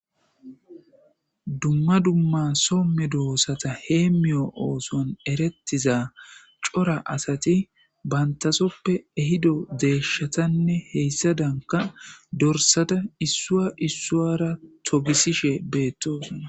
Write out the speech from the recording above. dumma dumma somme doosata hee miyo ooson erettiza cora asati bantasoppe ehido deeshshatanne heyssa danka dorsada issua issuwara togisishe beettosna